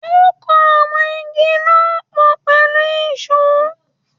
Ó kan àwọn Igi náà pọ̀ pẹ̀lú ìsó.